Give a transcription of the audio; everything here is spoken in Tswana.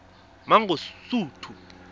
mangosuthu